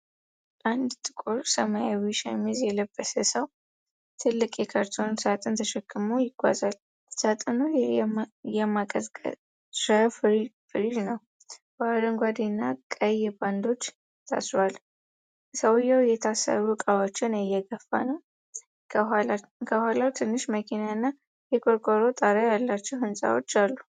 አንድ ጥቁር ሰማያዊ ሸሚዝ የለበሰ ሰው ትልቅ የካርቶን ሳጥን ተሸክሞ ይጓዛል። ሳጥኑ የማቀዝቀዣ ፍሪጅ ነው፣ በአረንጓዴና ቀይ ባንዶች ታስሯል። ሰውየው የታሰሩ ዕቃዎችን እየገፋ ነው፤ ከኋላው ትንሽ መኪናና የቆርቆሮ ጣሪያ ያላቸው ሕንፃዎች አሉ።